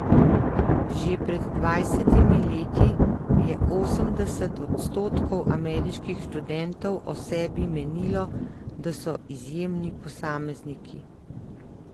Že pred dvajsetimi leti je osemdeset odstotkov ameriških študentov o sebi menilo, da so izjemni posamezniki.